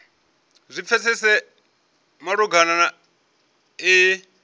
zwi pfesese malugana na iyi